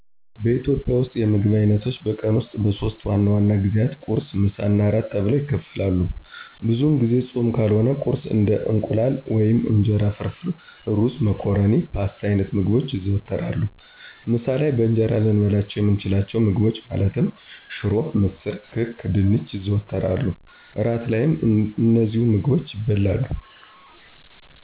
በኢትዮጵያ ውስጥ የምግብ አይነቶች በቀን ውስጥ በሶስት ዋና ዋና ጊዜያት ቁርስ፣ ምሳ እና እራት ተብለው ይከፈላሉ። ብዙውን ጊዜ ፆም ካልሆነ ቁርስ እንደ የእንቁላል ወይም የእንጀራ ፍርፍር፣ ሩዝ፣ መኮረኒ ፓስታ አይነት ምግቦች ይዘወተራሉ። ምሳ ላይ በእንጀራ ልንበላቸው የምንችላቸውን ምግቦች ማለትም ሽሮ፣ ምስር፣ ክክ፣ ድንች ይዘወተራሉ። እራት ላይም እነዚሁ ምግቦች ይበላሉ።